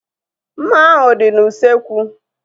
Mma ahu dị n'usekwu